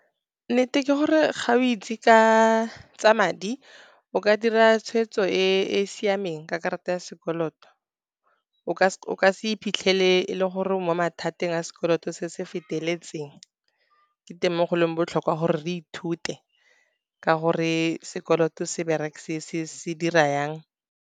Nnete ke gore ga o itse tsa madi, o ka dira tshwetso e siameng ka karata ya sekoloto, o ka se iphitlhele e le gore o mo mathateng a sekoloto se se feteletseng. Ke teng mo go leng botlhokwa gore re ithute ka gore sekoloto se dira jang.